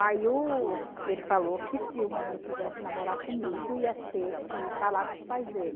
Aí o ele falou que se o menino quisesse namorar comigo, ia ter que falar com os pais dele.